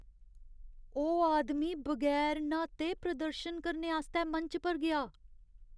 ओह् आदमी बगैर न्हाते प्रदर्शन करने आस्तै मंच पर गेआ।